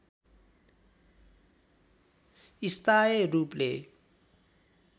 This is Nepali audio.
स्थायी रूपले